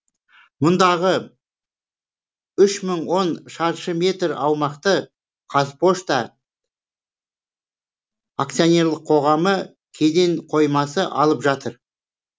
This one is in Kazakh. мұндағы үш мың он шаршы метр аумақты қазпошта аксционерлік қоғамы кеден қоймасы алып жатыр